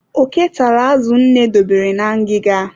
Oke tara azụ nne dobere na ngịga.